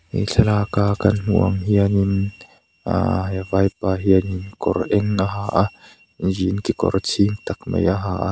he thlalak kan hmuh ang hian in aaa he vaipa hian in kawr eng a ha a jean kekawr chhing tak mai a ha a.